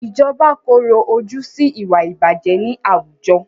Ìjọba korò ojú sí ìwà ìbàjẹ́ ní àwùjọ.